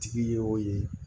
Tigi y'o ye